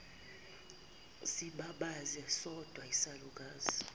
sibabaze sodwa isalukazi